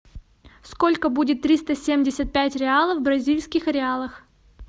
сколько будет триста семьдесят пять реалов в бразильских реалах